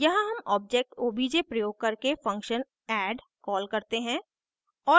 यहाँ हम object obj प्रयोग करके function add कॉल करते हैं